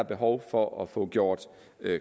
behov for at få gjort